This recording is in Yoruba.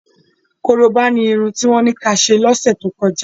Korobá ni irun tí wọ́n ní kí a ṣe lọ́sẹ̀ tó kọjá.